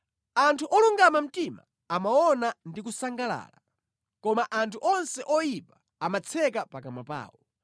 Anthu olungama mtima amaona ndi kusangalala, koma anthu onse oyipa amatseka pakamwa pawo.